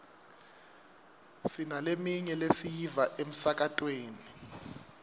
sinaleminye lesiyiva emsakatweni